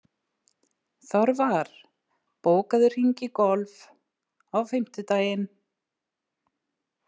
Þorvar, bókaðu hring í golf á fimmtudaginn.